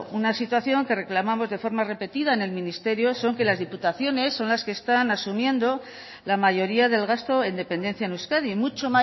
una situación que reclamamos de forma repetida en el ministerio son que las diputaciones son las que están asumiendo la mayoría del gasto en dependencia en euskadi mucho